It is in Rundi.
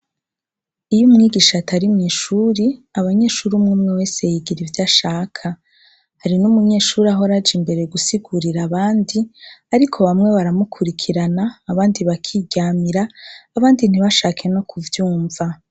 Iyo umwigisha atari mw' ishuri , abanyeshuri, umwe umwe wese yigira ivyashaka. Hari n' umunyeshuri ahora aja imbere gusigurira abandi, ariko bamwe baramukurikirana, abandi bakiryamira, abandi ntibashake no kuvyumva.